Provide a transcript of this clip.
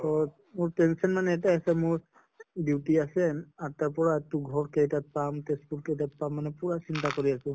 পাছত মোৰ tension ইয়াতে আছে মোৰ duty আছে আঠ টাৰ পৰা, তো ঘৰ কেইটাত পাম, তেজ্পুৰ কেইটাত পাম মানে পুৰা চিন্তা কৰি আছো